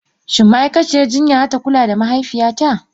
Shin ma'aikaciyar jinya za ta kula da mahaifiyata?